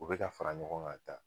U bɛ ka fara ɲɔgɔn kan taa